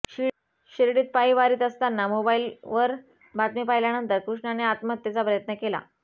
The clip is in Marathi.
शिर्डीत पायी वारीत असताना मोबाईलवर बातमी पाहिल्यानंतर कृष्णाने आत्महत्येचा प्रयत्न केला